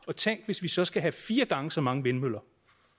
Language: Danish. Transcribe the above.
og tænk hvis vi så skal have fire gange så mange vindmøller